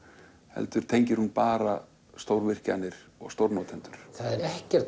heldur tengir hún bara stórvirkjanir og stórnotendur það er ekkert